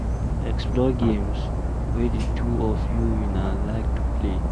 Explore games wey di two of una like to play